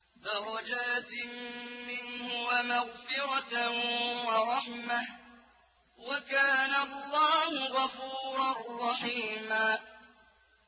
دَرَجَاتٍ مِّنْهُ وَمَغْفِرَةً وَرَحْمَةً ۚ وَكَانَ اللَّهُ غَفُورًا رَّحِيمًا